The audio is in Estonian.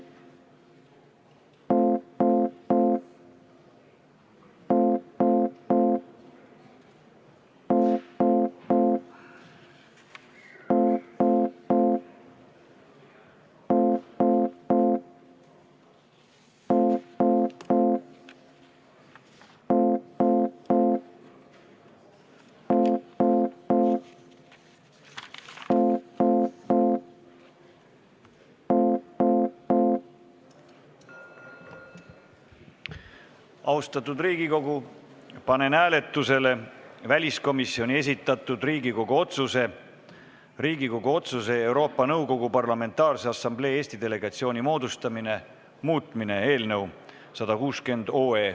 Austatud Riigikogu, panen hääletusele väliskomisjoni esitatud Riigikogu otsuse "Riigikogu otsuse "Euroopa Nõukogu Parlamentaarse Assamblee Eesti delegatsiooni moodustamine" muutmine" eelnõu 160.